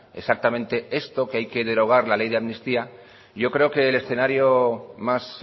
exactamente esto que hay que derogar la ley de amnistía yo creo que el escenario más